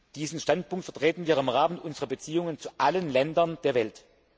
Diesen Standpunkt vertreten wir im Rahmen unserer Beziehungen zu allen Ländern der Welt.